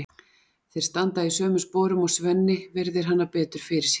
Þeir standa í sömu sporum og Svenni virðir hana betur fyrir sér.